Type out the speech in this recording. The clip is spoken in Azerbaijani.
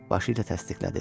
Başı ilə təsdiqlədi.